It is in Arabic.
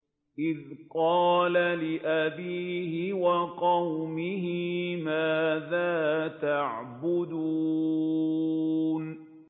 إِذْ قَالَ لِأَبِيهِ وَقَوْمِهِ مَاذَا تَعْبُدُونَ